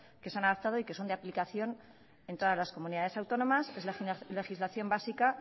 que se han adoptado y que son de aplicación en todas las comunidades autónomas que es la legislación básica